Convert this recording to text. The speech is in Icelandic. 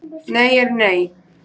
Nei er nei